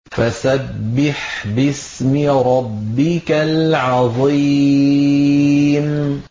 فَسَبِّحْ بِاسْمِ رَبِّكَ الْعَظِيمِ